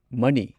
money